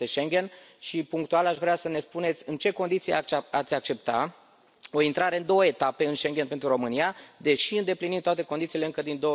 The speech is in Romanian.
Unul este Schengen și punctual aș vrea să ne spuneți în ce condiții ați accepta o intrare în două etape în Schengen pentru România, deși îndeplinim toate condițiile încă din